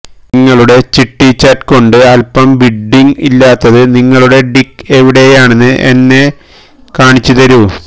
നിങ്ങളുടെ ചിട്ടി ചാറ്റ് കൊണ്ട് അല്പം ബിഡ്ഡിംഗ് ഇല്ലാത്തത് നിങ്ങളുടെ ഡിക്ക് എവിടെയാണെന്ന് എന്നെ കാണിച്ചുതരൂ